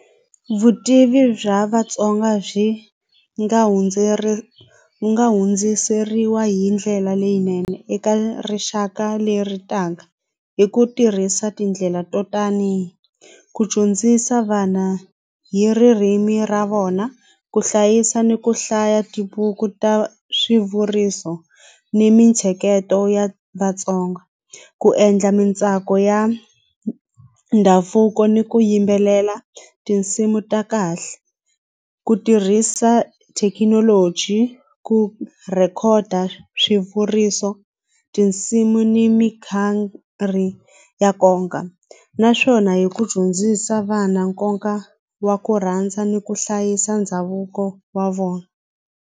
Vutivi bya Vatsonga byi nga hundziseriwa hi ndlela leyinene eka rixaka leritaka hi ku tirhisa tindlela to tani ku dyondzisa vana hi ririmi ra vona ku hlayisa ni ku hlaya tibuku ta swivuriso ni mintsheketo ya Vatsonga ku endla mintsako ya ndhavuko ni ku yimbelela tinsimu ta kahle ku tirhisa thekinoloji ku rhekhoda swivuriso tinsimu ni mi ya naswona hi ku dyondzisa vana nkoka wa ku rhandza ni ku hlayisa ndhavuko wa vona.